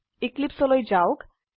eclipseলৈ যাওক